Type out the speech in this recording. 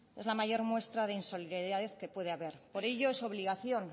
es la mayor muestra de insolidaridad que puede haber por ello es obligación